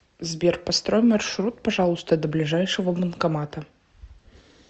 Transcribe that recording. сбер построй маршрут пожалуйста до ближайшего банкомата